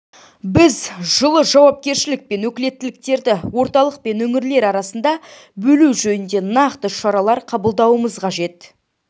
біз жылы жауапкершілік пен өкілеттіктерді орталық пен өңірлер арасында бөлу жөнінде нақты шаралар қабылдауымыз қажет